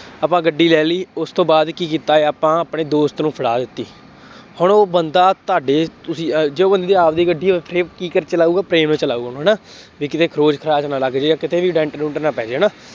ਆਪਾਂ ਗੱਡੀ ਲੈ ਲਈ, ਉਸ ਤੋਂ ਬਾਅਦ ਕੀ ਕੀਤਾ, ਆਪਾਂ ਆਪਣੇ ਦੋਸਤ ਨੂੰ ਫੜਾ ਦਿੱਤੀ। ਹੁਣ ਉਹ ਬੰਦਾ ਤੁਹਾਡੇ, ਤੁਸੀਂ ਅਹ ਜੋ ਬੰਦੇ ਦੀ ਆਪਦੀ ਗੱਡੀ ਹੈ, ਉੱਥੇ ਕੀ ਕਰ ਚਲਾਊਗਾ, ਪ੍ਰੇਮ ਨਾਲ ਚਲਾਊਗਾ। ਹੈ ਨਾ, ਬਈ ਕਿਤੇ ਖਰੋਚ ਖਰਾਚ ਨਾ ਲੱਗ ਜਾਏ ਜਾਂ ਕਿਤੇ ਵੀ ਡੈਂਟ ਡੂੰਟ ਨਾ ਪੈ ਜਾਏ, ਹੈ ਨਾ,